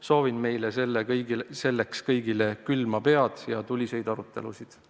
Soovin meile selleks kõigile külma pead ja tuliseid arutelusid.